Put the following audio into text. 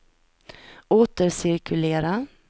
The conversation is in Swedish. återcirkulera